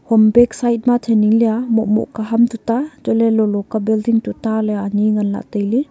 hom side ma thenin leya moh moh ka ham tuta ant ley lo lo ke building tuta ley ani ngan lah ley tailey.